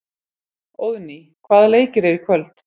Óðný, hvaða leikir eru í kvöld?